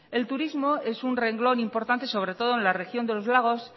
el turismo es un renglón importante sobre todo en la región de los lagos